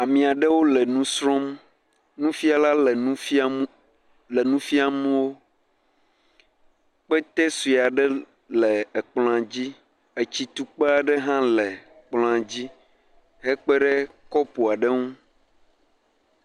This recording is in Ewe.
Ame aɖewo le nu srɔ̃m. Nufiala le nu fiam le nu fiam wo. Kpete sue aɖe le kplɔa di. Etsu tukpa aɖe hã le kplɔa dzi ekpe ɖe kɔpu aɖe nu.